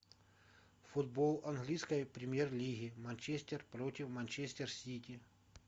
футбол английской премьер лиги манчестер против манчестер сити